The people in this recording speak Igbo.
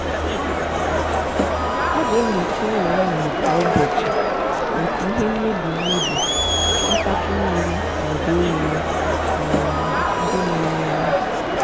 a ga-enyocha ụlọ nnụnụ kwa ụbọchị maka ihe mmebi mmebi ntapu mmiri ma ọ bụ oghere um ndị na-eri anụ.